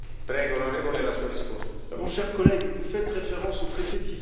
Mon cher collègue, vous faites référence au traité de Lisbonne l'avez vous lu?